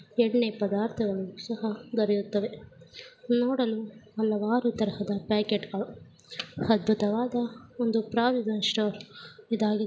ಎಣ್ಣೆ ಪದಾರ್ಥಗಳು ಸಹ ದೊರೆಯುತ್ತವೆ ನೋಡಲು ಹಲವಾರು ತರಹದ ಪ್ಯಾಕೆಟ್ಗಳು ಅದ್ಬುತವಾದ ಒಂದು ಪ್ರೊವಿಶನ್ ಸ್ಟೋರ್ ಇದಾಗಿ.